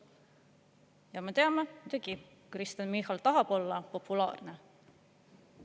Ja me teame, et muidugi Kristen Michal tahab olla populaarne.